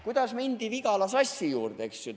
Kuidas mindi Vigala Sassi juurde?